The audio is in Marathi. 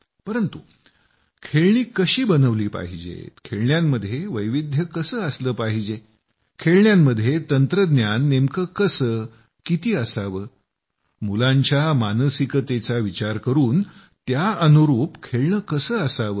परंतु खेळणी कशी बनवली पाहिजेत खेळण्यांमध्ये वैविध्य कसं असलं पाहिजे खेळण्यांमध्ये तंत्रज्ञान नेमकं कसं किती असावं मुलांच्या मानसिकतेचा विचार करून त्या अनुरूप खेळणं कसं असावं